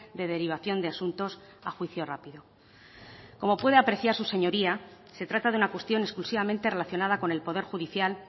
de derivación de asuntos a juicio rápido como puede apreciar su señoría se trata de una cuestión exclusivamente relacionada con el poder judicial